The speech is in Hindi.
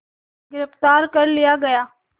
गिरफ़्तार कर लिया गया